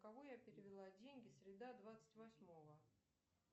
кому я перевела деньги среда двадцать восьмого